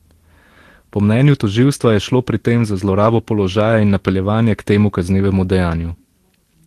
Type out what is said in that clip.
Po mnenju tožilstva je šlo pri tem za zlorabo položaja in napeljevanje k temu kaznivemu dejanju.